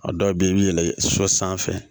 A dɔw bɛ yen i bɛ yɛlɛ sɔ sanfɛ